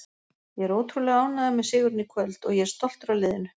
Ég er ótrúlega ánægður með sigurinn í kvöld og ég er stoltur af liðinu.